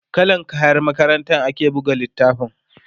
kallan kayan makarantar ake buga littafin